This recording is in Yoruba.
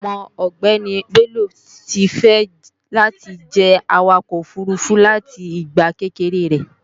Ọmọ ọgbéni Bello ti fẹ́ láti jẹ́ Awakọ̀ òfurufú láti ìgbà kékeré rẹ̀